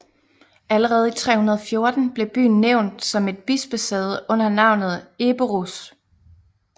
Allerede i 314 blev byen nævnt som et bispesæde under navnet Eborus